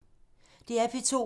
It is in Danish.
DR P2